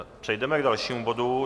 Přejdeme k dalšímu bodu.